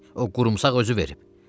O qrumsax özü verib.